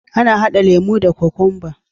Ana hada lemo da kokwanba.